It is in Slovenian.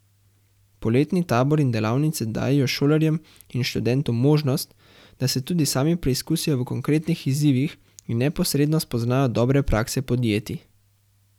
Poletni tabori in delavnice dajejo šolarjem in študentom možnost, da se tudi sami preizkusijo v konkretnih izzivih in neposredno spoznajo dobre prakse podjetij.